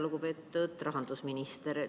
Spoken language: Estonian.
Lugupeetud rahandusminister!